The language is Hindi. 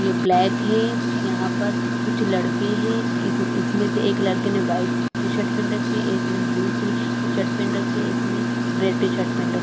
ये ब्लैक है यहाँ पर कुछ लड़के है इस इसमें से एक लड़के ने वाइट टी-शर्ट पहेन रखी है एक ने ब्लू शू टी-शर्ट पहेन रखा है इसने रेड टी-शर्ट पहेन रखी है।